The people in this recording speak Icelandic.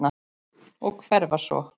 Og hverfa svo.